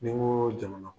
Ni n ko jamana